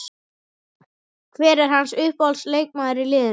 Hver er hans uppáhalds leikmaður í liðinu?